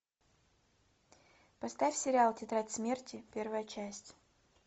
поставь сериал тетрадь смерти первая часть